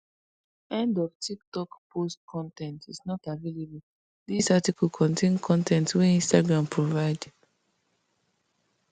end of tiktok post con ten t is not available dis article contain con ten t wey instagram provide